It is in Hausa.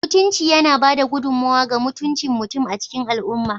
Mutunci yana ba da gudummawa ga mutuncin mutum a cikin al'umma